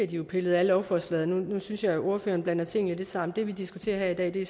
de jo pillet af lovforslaget jeg synes at ordføreren blander tingene lidt sammen nu det vi diskuterer her i